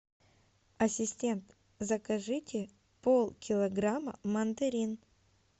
ассистент закажите полкилограмма мандарин